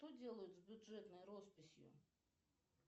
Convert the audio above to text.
что делают с бюджетной росписью